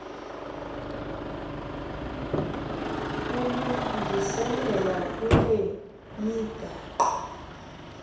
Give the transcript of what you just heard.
ulungiselelo kule migaqo